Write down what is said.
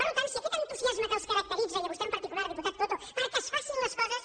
per tant si aquest entusiasme que els caracteritza i a vostè en particular diputat coto perquè es facin les coses